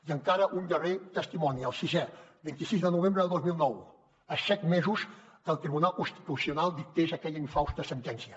i encara un darrer testimoni el sisè vint sis de novembre del dos mil nou a set mesos que el tribunal constitucional dictés aquella infausta sentència